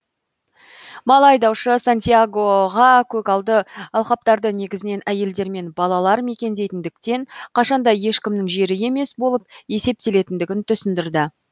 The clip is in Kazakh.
мал айдаушы сантьягоға көгалды алқаптарды негізінен әйелдер мен балалар мекендейтіндіктен қашанда ешкімнің жері емес болып есептелетіндігін түсіндірді